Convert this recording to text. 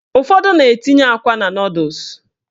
Ụfọdụ na-etinye akwa na nọdụs